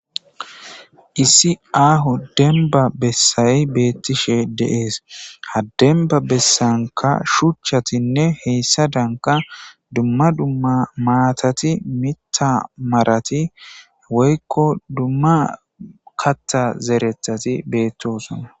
Issi aaho denba bessay beetishe de'es; ha denba besanka shuchchatinne hessadanka dumma duma maatati miththa marati woykko duma kaththa zereththati betosona.